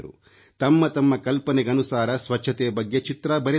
ತಮ್ಮ ತಮ್ಮ ಕಲ್ಪನೆಗನುಸಾರ ಸ್ವಚ್ಛತೆ ಬಗ್ಗೆ ಚಿತ್ರ ಬರೆದರು